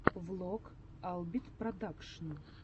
влог албит продакшн